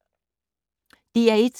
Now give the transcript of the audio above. DR1